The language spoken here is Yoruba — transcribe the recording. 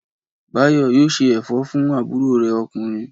Báyọ̀ yóò ṣe ẹ̀fẹ̀ fún àbúrò rẹ̀ ọkùnrin.